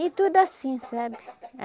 E tudo assim, sabe?